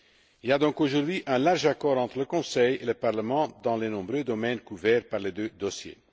Il y a donc aujourd'hui un large accord entre le Conseil et le Parlement dans les nombreux domaines couverts par les deux dossiers.